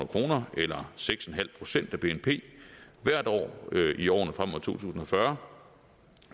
kroner eller seks en halv procent af bnp hvert år i årene frem mod tusind og fyrre